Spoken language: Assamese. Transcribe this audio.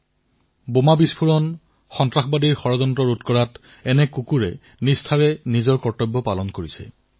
কিমান বোমা বিস্ফোৰণত কিমান সন্ত্ৰাসবাদী আক্ৰমণত এনে কুকুৰে গুৰুত্বপূৰ্ণ ভূমিকা পালন কৰিছে